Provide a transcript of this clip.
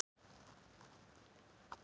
Irpa, er opið í Tíu ellefu?